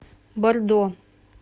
бордо